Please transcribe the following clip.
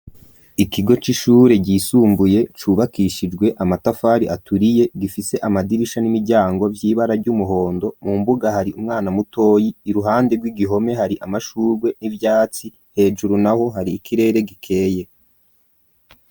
Ikigo c'ishure ryisumbuye cubakishijwe amatafari aturiye gifise amadirisha n'imiryango vy'ibara ry'umuhondo mu mbuga hari umwana mutoyi i ruhande rw'igihome hari amashurwe n'ivyatsi hejuru na ho hari ikirere gikeye.